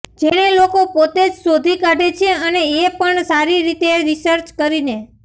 જેને લોકો પોતે જ શોધી કાઢે છે અને એ પણ સારી રીતે રિસર્ચ કરીને